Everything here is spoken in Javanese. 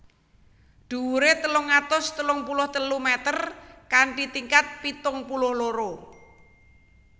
Dhuwuré telung atus telung puluh telu meter kanthi tingkat pitung puluh loro